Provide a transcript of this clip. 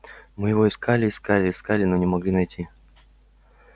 мы его искали искали искали но не могли найти